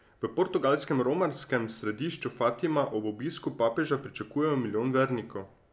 V portugalskem romarskem središču Fatima ob obisku papeža pričakujejo milijon vernikov.